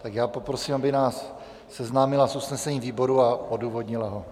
Tak já poprosím, aby nás seznámila s usnesením výboru a odůvodnila ho.